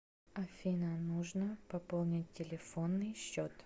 афина нужно пополнить телефонный счет